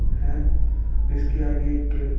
है इसके आगे एक --